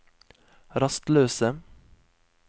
rastløse